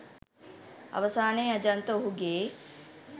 අවසානයේ අජන්ත ඔහුගේ